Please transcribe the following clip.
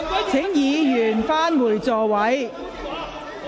請議員返回座位。